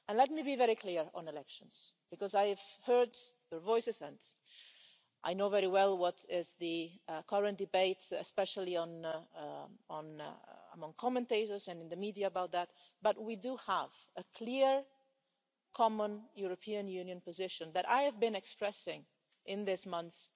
And let me be very clear on elections, because I have heard your voices and I know very well what is the current debate, especially among commentators and in the media about that, but we do have a clear, common European Union position that I have been expressing in these months,